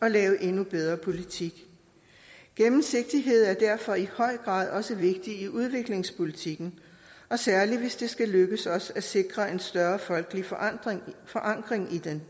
at lave endnu bedre politik gennemsigtighed er derfor i høj grad også vigtigt i udviklingspolitikken særlig hvis det skal lykkes os at sikre en større folkelig forankring forankring i den